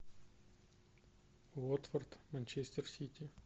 уотфорд манчестер сити